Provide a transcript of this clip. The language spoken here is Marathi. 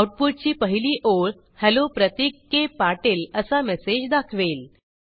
आऊटपुटची पहिली ओळ हेल्लो प्रतीक के पाटील असा मेसेज दाखवेल